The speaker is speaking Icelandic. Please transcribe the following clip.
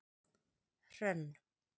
Hrönn